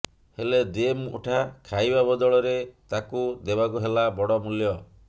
ହେଲେ ଦି ମୁଠା ଖାଇବା ବଦଳରେ ତାକୁ ଦେବାକୁ ହେଲା ବଡ ମୂଲ୍ୟ